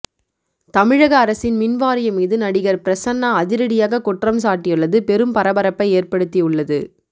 தமிழக அரசின் மின் வாரியம் மீது நடிகர் பிரசன்னா அதிரடியாக குற்றம்சாட்டியுள்ளது பெரும் பரபரப்பை ஏற்படுத்தி உள்ளது